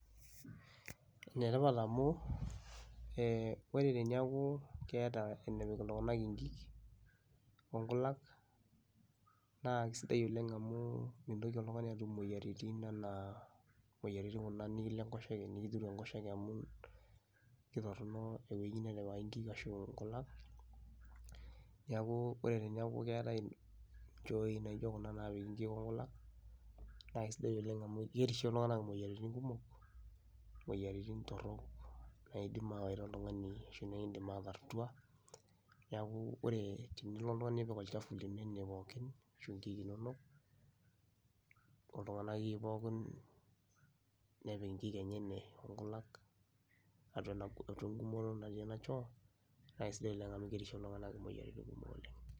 Ene tipat amu ee ore teniaku keeta enepik iltung'anak inkik o nkulak naa kisidai oleng' amu mintoki oltung'ani atum imoyiaritin enaa moyiaritin kuna nekilo enkoshoke nekitiru enkoshoke amu ketorono euwei netipikaki nkik ashu nkulak. Neeku ore teneeku keetai nchooi naijo kuna naapiki nkik o nkulak, naake sidai oleng' amu kerishie iltung'anak imoyiaritin kumok, imoyiaritin torok naiidim ayawaita oltung'ani ashu nekiindim ataar tua. Neeku ore tenilo oltung'ani nipik olchafu lino ine pookin ashu inkik inonok, oltung'ani akeyie pookin nepik inkik enye ene o nkulak atua ena gum eng'umoto natii ena choo, naa sidai oleng amu kerishie iltung'anak imoyiaritin kumok oleng.